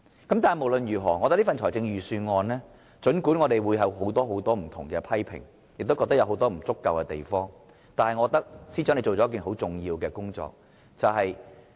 但是，無論如何，儘管我們對這份預算案有很多不同的批評，亦認為它有很多不足之處，但我覺得司長做了一件很重要的工作。